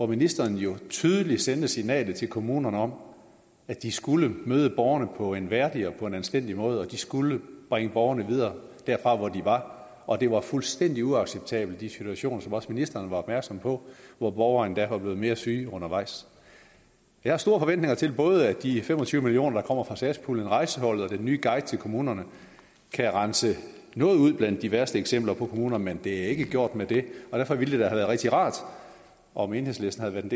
ministeren jo tydeligt sendte et signal til kommunerne om at de skulle møde borgerne på en værdig og anstændig måde og at de skulle bringe borgerne videre derfra hvor de var og at det var fuldstændig uacceptabelt med de situationer som også ministeren var opmærksom på hvor borgere endda var blevet mere syge undervejs jeg har store forventninger til at både de fem og tyve million kr der kommer fra satspuljen rejseholdet og den nye guide til kommunerne kan rense noget ud blandt de værste kommuner men det er ikke gjort med det og derfor ville været rigtig rart om enhedslisten havde